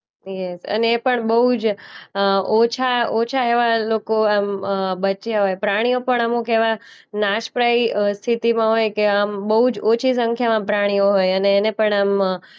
અને એ પણ બોઉ જ અ ઓછા ઓછા એવા લોકો એમ અ બચ્યા હોય. પ્રાણીઓ પણ અમુક એવા નાશપ્રાયી અ સ્થિતિમાં હોય કે આમ બોઉ જ ઓછી સંખ્યામાં પ્રાણીઓ હોય અને એને પણ એમ અ